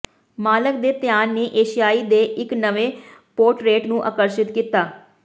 ਮਾਲਕ ਦੇ ਧਿਆਨ ਨੇ ਏਸ਼ੀਆਈ ਦੇ ਇੱਕ ਨਵੇਂ ਪੋਰਟਰੇਟ ਨੂੰ ਆਕਰਸ਼ਿਤ ਕੀਤਾ